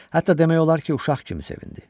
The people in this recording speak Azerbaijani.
Hətta demək olar ki, uşaq kimi sevindi.